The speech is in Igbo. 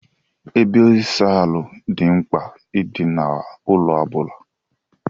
Ebe ịsa ahụ dị mkpa I di na ụlọ obula.